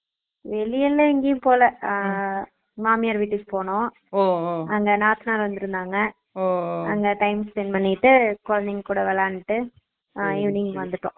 வெளில எங்கயும் போல அஹ் மாமியார் விட்டுக்கு போனோம் Noise அங்க நாத்தனார் வந்துருந்தாங்க Noise timespent பண்ணிட்டு கொழந்தைங்க கூட விளையாண்டு அஹ் evening வந்துட்டோம்